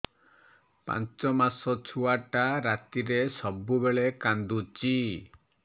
ପାଞ୍ଚ ମାସ ଛୁଆଟା ରାତିରେ ସବୁବେଳେ କାନ୍ଦୁଚି